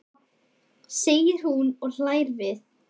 segir hún og hlær við.